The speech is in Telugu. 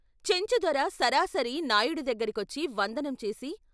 చెంచుదొర సరాసరి నాయుడు దగ్గరకొచ్చి వందనం చేసి...